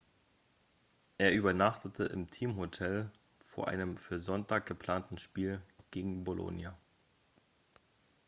er übernachtete im teamhotel vor einem für sonntag geplanten spiel gegen bolonia